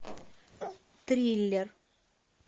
триллер